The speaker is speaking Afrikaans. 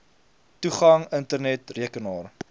toegang internet rekenaar